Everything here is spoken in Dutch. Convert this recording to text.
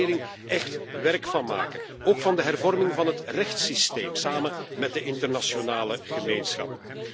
Daar moet de regering echt werk van maken. Ook van de hervorming van het rechtssysteem, samen met de internationale gemeenschap.